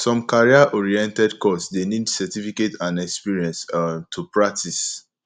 some career oriented course de need certificate and experience um to practice